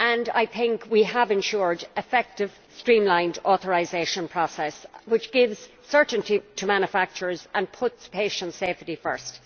I think we have ensured an effective streamlined authorisation process which gives certainty to manufacturers and puts patient safety first.